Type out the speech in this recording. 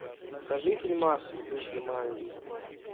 покажи фильмас в духе манги